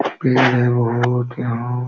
पेड़ है बोहोत यहाँ। --